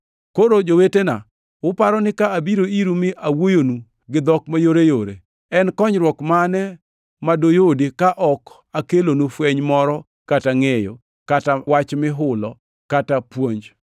Koro, jowetena, uparo ni ka abiro iru mi awuoyonu gi dhok mayoreyore, en konyruok mane ma duyudi, ka ok akelonu fweny moro kata ngʼeyo, kata wach mihulo kata puonj?